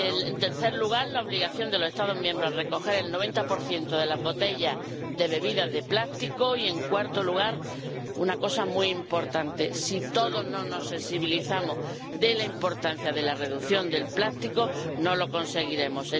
En tercer lugar, la obligación de los Estados miembros a recoger el 90 de las botellas de bebidas de plástico y, en cuarto lugar, una cosa muy importante si no nos sensibilizamos todos sobre la importancia de la reducción del plástico, no lo conseguiremos.